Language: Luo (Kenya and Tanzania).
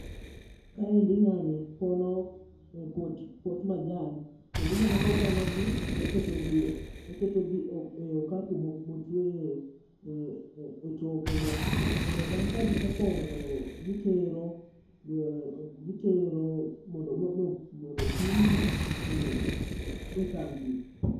Kaendi ng'ani pono pot majan kendo ineno koketogi ei okapu motueyo e tokeno. Kendo bang' ka gisepono to gitero, gitero mondo opim gi e kambi.